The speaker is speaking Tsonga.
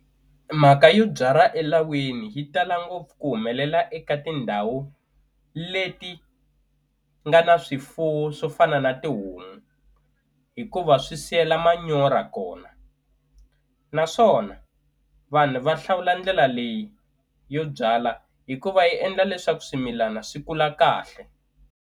Mhaka yo byala elawini yi tala ngopfu ku humelela eka tindhawu leti nga na swifuwo swo fana na tihomu hikuva swi siyela manyora kona naswona vanhu va hlawula ndlela leyi yo byalwa hikuva yi endla leswaku swimilana swi kula kahle.